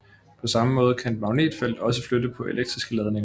På samme måde kan et magnetfelt også flytte på elektriske ladninger